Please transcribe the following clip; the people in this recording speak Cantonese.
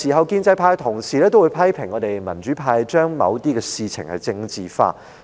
建制派同事很多時批評我們民主派把某些事情政治化。